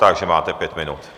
Takže máte pět minut.